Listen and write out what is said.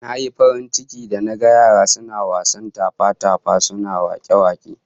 Nayi farin ciki da naga yaran suna wasan tafa-tafa, suna wake-wake